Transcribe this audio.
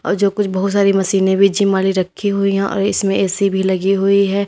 और जो कुछ बहुत सारी मशीनें भी जिम वाली रखी हुई हैं और इसमें ए_सी भी लगी हुई है।